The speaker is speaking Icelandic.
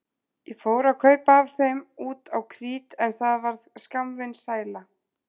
Ég fór að kaupa af þeim út á krít en það varð skammvinn sæla.